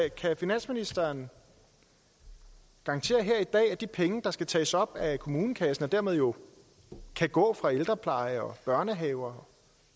finansministeren garantere her i dag at de penge der skal tages op af kommunekassen og dermed jo kan gå fra ældrepleje og børnehaver og